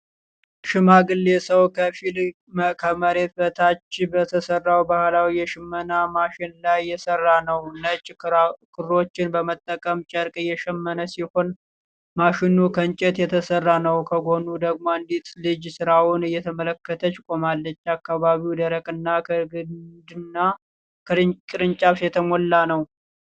ሽማግሌ ሰው ከፊል ከመሬት በታች በተሰራው ባህላዊ የሽመና ማሽን ላይ እየሰራ ነው። ነጭ ክሮችን በመጠቀም ጨርቅ እየሸመነ ሲሆን፣ ማሽኑ ከእንጨት የተሰራ ነው። ከጎኑ ደግሞ አንዲት ልጅ ሥራውን እየተመለከተች ቆማለች። አካባቢው ደረቅና ከግንድና ከቅርንጫፍ የተሞላ ነው።